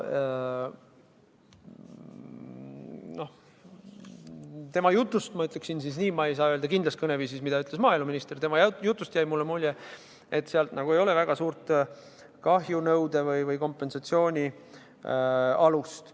Ma ütleksin siis nii, et ma ei saa öelda kindlas kõneviisis, mida ütles maaeluminister, aga tema jutust jäi mulle mulje, et seal ei ole väga head kahjunõude või kompensatsiooni alust.